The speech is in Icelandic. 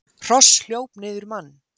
Hross hljóp niður mann